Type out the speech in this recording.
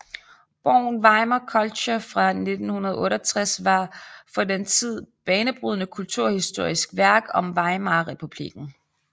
Bogen Weimar Culture fra 1968 var et for den tid banebrydende kulturhistorisk værk om Weimarrepublikken